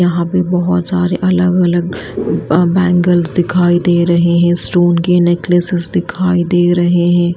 यहां पे बहुत सारे अलग-अलग बैंगल्स दिखाई दे रहे हैं स्टोन के नेकलेसेस दिखाई दे रहे हैं।